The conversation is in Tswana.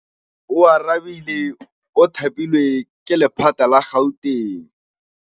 Oarabile o thapilwe ke lephata la Gauteng.